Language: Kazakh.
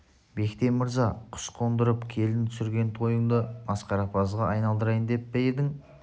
бектен мырза құс қондырып келін түсірген тойыңды масқарапазға айналдырайын деп пе едің